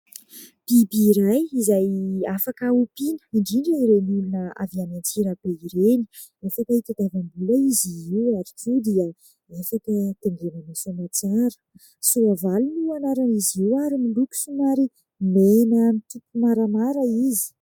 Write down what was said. Biby iray izay afaka ompiana indrindra ireny olona avy any Antsirabe ireny, afaka hitadiavam-bola izy io ary koa dia afaka taingenana soamatsara, soavaly no anaran'izy io ary miloko somary mena mitopy maramara izy.